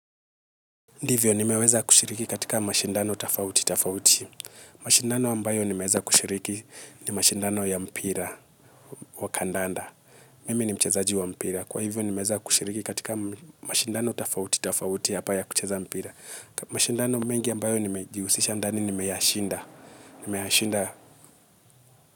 Ndivyo, nimeweza kushiriki katika mashindano tofauti, tofauti. Mashindano ambayo nimeweza kushiriki ni mashindano ya mpira wa kandanda. Mimi ni mchezaji wa mpira. Kwa hivyo, nimeweza kushiriki katika mashindano tofauti, tofauti, hapa ya kucheza mpira. Mashindano mengi ambayo nimejihusisha ndani, nimeyashinda.